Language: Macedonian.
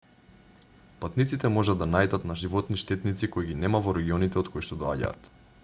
патниците можат да наидат на животни-штетници кои ги нема во регионите од коишто доаѓаат